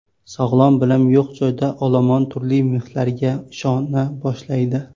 Sog‘lom bilim yo‘q joyda olomon turli miflarga ishona boshlaydi.